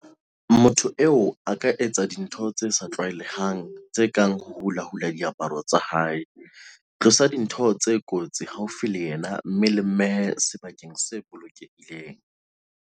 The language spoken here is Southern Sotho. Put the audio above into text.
Motho eo a ka etsa dintho tse sa tlwaelehang tse kang ho hulahula diaparo tsa hae. "Tlosang dintho tse kotsi haufi le yena mme le mmehe sebakeng se bolokehileng."